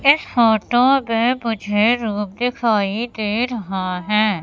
इस फोटो में मुझे रूम दिखाई दे रहा है।